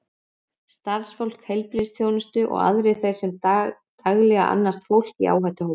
Starfsfólk heilbrigðisþjónustu og aðrir þeir sem daglega annast fólk í áhættuhópum.